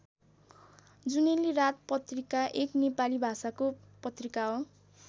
जुनेली रात पत्रिका एक नेपाली भाषाको पत्रिका हो।